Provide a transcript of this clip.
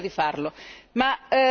Spero che avremo occasione di farlo.